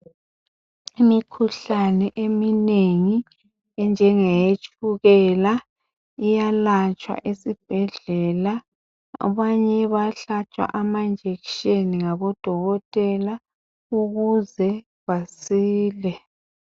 Imikhuhlane eminengi enjengeye tshukela iyalatshwa esibhedlela abanye bayahlatshwa amajekiseni ngabodokotela ukuze basile